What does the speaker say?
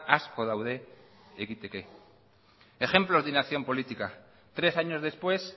asko daude egiteke ejemplos de inacción política tres años después